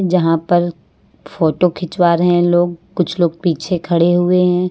जहां पर फोटो खिंचवा रहे हैं लोग कुछ लोग पीछे खड़े हुए हैं।